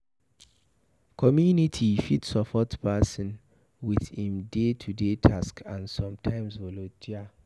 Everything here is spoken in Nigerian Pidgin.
Community fit support person with im day to day task and sometime volunteer